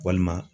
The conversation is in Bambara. Walima